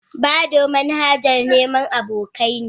Badoo manhajar neman abokai ne.